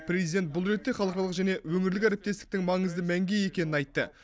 президент бұл ретте халықаралық және өңірлік әріптестіктің маңызды мәнге ие екенін айтты